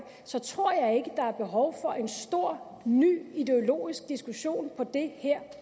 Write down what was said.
så tror jeg ikke der er behov for en stor ny ideologisk diskussion på det her